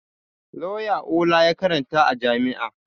Lauya Ola ya karanta a jami'a